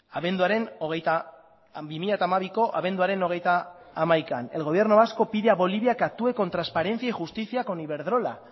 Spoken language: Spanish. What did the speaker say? bi mila hamabiko abenduaren hogeita hamaika el gobierno vasco pide a bolivia que actúe con transparencia y justicia con iberdrola